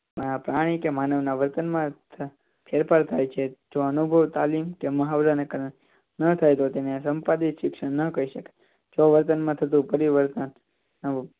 પ્રાણી કે માનવના વર્તનમાં ફેરફાર થાય છે જો અનુભવ તાલીમ કે મહા દ્વારા ન થાય તો તેને સંપાદી શિક્ષણ ન કહી શકાય જો વર્તનમાં થતું પરિવર્તન